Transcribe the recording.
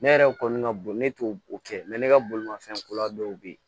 Ne yɛrɛ kɔni ka bon ne t'o kɛ ne ka bolimanfɛn kura dɔw bɛ yen